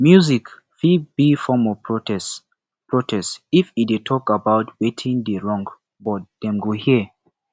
music fit be form of protest protest if e talk about wetin dey wrong but dem go hear